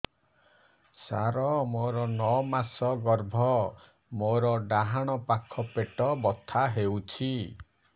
ସାର ମୋର ନଅ ମାସ ଗର୍ଭ ମୋର ଡାହାଣ ପାଖ ପେଟ ବଥା ହେଉଛି